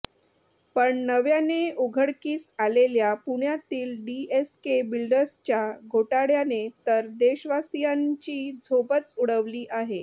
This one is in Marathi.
पण नव्याने उघडकीस आलेल्या पुण्यातील डीएसके बिल्डर्सच्या घोटाळ्याने तर देशवासीयांची झोपच उडवली आहे